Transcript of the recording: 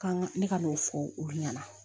Kan ka ne ka n'o fɔ olu ɲɛna